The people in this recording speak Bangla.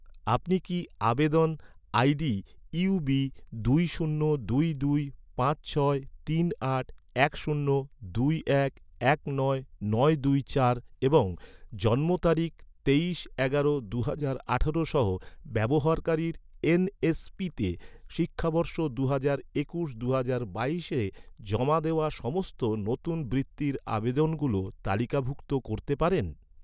আপনি কি, আবেদন, আইডি ইউবি দুই শূন্য দুই দুই পাঁচ ছয় তিন আট এক শূন্য দুই এক এক নয় নয় দুই চার দুই তিন এবং জন্ম তারিখ তেইশ এগারো দুহাজার আঠারো সহ, ব্যবহারকারীর এন.এস.পিতে শিক্ষাবর্ষ দুহাজার একুশ দুহাজার বাইশে জমা দেওয়া, সমস্ত নতুন বৃত্তির আবেদনগুলো তালিকাভুক্ত করতে পারেন?